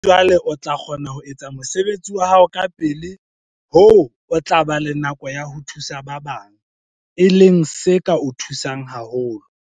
Mohlomong jwale o tla kgona ho etsa mosebetsi wa hao kapele hoo o tla ba le nako ya ho thusa ba bang, bokonteraka, e leng se ka o thusang haholo.